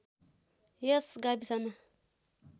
यस गाविसमा